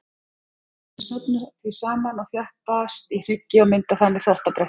Þau safnast því saman og þjappast í hryggi og mynda þannig þvottabretti.